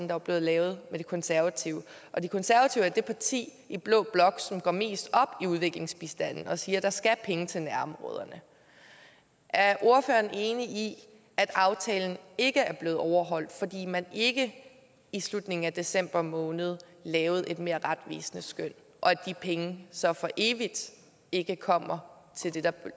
var blevet lavet med de konservative og de konservative er det parti i blå blok som går mest op i udviklingsbistanden og siger at der skal penge til nærområderne er ordføreren enig i at aftalen ikke er blevet overholdt fordi man ikke i slutningen af december måned lavede et mere retvisende skøn og at de penge så for evigt ikke kommer til det der